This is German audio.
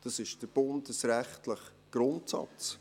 Dies ist der bundesrechtliche Grundsatz.